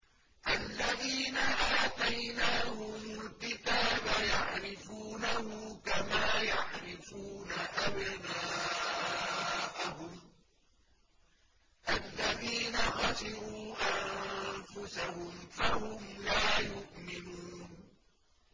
الَّذِينَ آتَيْنَاهُمُ الْكِتَابَ يَعْرِفُونَهُ كَمَا يَعْرِفُونَ أَبْنَاءَهُمُ ۘ الَّذِينَ خَسِرُوا أَنفُسَهُمْ فَهُمْ لَا يُؤْمِنُونَ